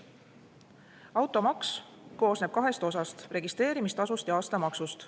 Automaks koosneb kahest osast: registreerimistasust ja aastamaksust.